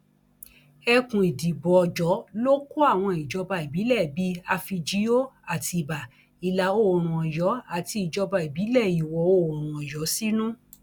ẹkùn ìdìbò ọjọ ló kó àwọn ìjọba ìbílẹ bíi àfíjío àtibá ìlàoòrùn ọyọ àti ìjọba ìbílẹ ìwọoòrùn ọyọ sínú